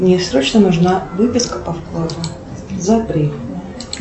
мне срочно нужна выписка по вкладу за апрель